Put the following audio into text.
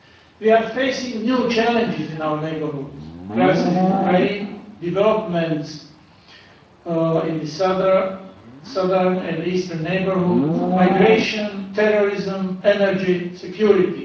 We are facing new challenges in our neighbourhood the crisis in Ukraine, developments in the southern and eastern neighbourhood, migration, terrorism, energy security.